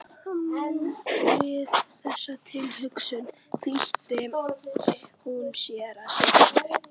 Við þessa tilhugsun flýtti hún sér að setjast upp.